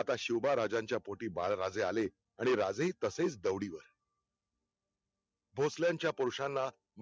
आता शिवबाराजांचा पोटी बाळराजे आले, आणि राजेही तसेच दौडी वर भोसल्यांचा पुरुषांना